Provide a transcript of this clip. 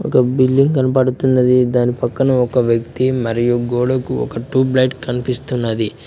ఒక బిల్డింగ్ కనబడుతున్నది దాని పక్కన ఒక వ్యక్తి మరియు గోడకు ఒక ట్యూబ్ లైట్ కనిపిస్తున్నది.